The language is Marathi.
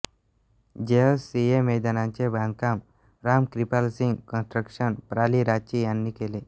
जेएससीए मैदानाचे बांधकाम राम क्रिपाल सिंग कन्स्ट्रक्शन प्रा लि रांची यांनी केले